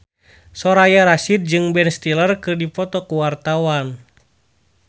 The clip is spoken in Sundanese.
Soraya Rasyid jeung Ben Stiller keur dipoto ku wartawan